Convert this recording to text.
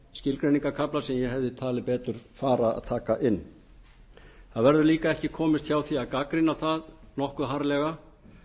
skilgreiningarkafla sem ég hefði talið betur fara að taka inn það verður líka ekki komist hjá svo að gagnrýna það nokkuð harðlega